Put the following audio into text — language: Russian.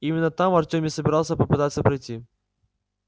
именно там артём и собирался попытаться пройти